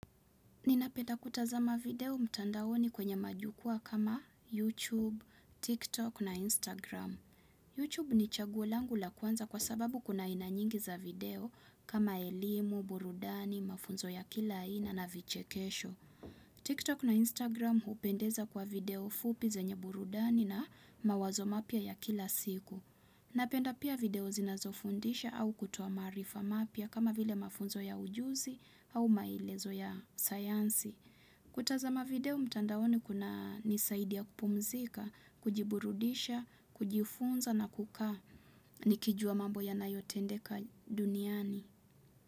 Ninapenda kutazama video mtandaoni kwenye majukwa kama YouTube, TikTok na Instagram. YouTube ni chaguo langu la kwanza kwa sababu kuna aina nyingi za video kama elimu, burudani, mafunzo ya kila aina na vichekesho. TikTok na Instagram hupendeza kwa video fupi zenye burudani na mawazo mapya ya kila siku. Napenda pia video zinazofundisha au kutoa maarifa mapya kama vile mafunzo ya ujuzi au maelezo ya sayansi. Kutazama video mtandaoni kunanisaidia kupumzika, kujiburudisha, kujifunza na kukaa nikijua mambo yanayotendeka duniani.